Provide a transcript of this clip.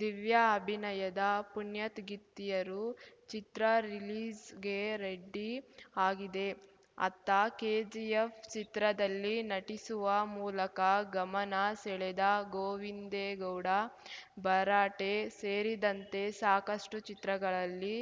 ದಿವ್ಯಾ ಅಭಿನಯದ ಪುಣ್ಯಾತ್‌ಗಿತ್ತೀಯರು ಚಿತ್ರ ರಿಲೀಸ್‌ಗೆ ರೆಡಿ ಆಗಿದೆ ಅತ್ತ ಕೆಜಿಎಫ್‌ ಚಿತ್ರದಲ್ಲಿ ನಟಿಸುವ ಮೂಲಕ ಗಮನ ಸೆಳೆದ ಗೋವಿಂದೇ ಗೌಡ ಭರಾಟೆ ಸೇರಿದಂತೆ ಸಾಕಷ್ಟುಚಿತ್ರಗಳಲ್ಲಿ